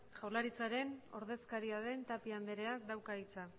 jaularitzaren ordezkaria den tapia andreak dauka hitza